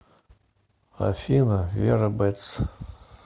афина вера бэтс